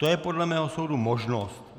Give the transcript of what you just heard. To je podle mého soudu možnost.